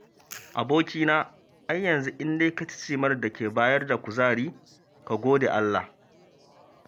Abokina ai yanzu in dai ka ci cimar da ke bayar da kuzari ka gode Allah.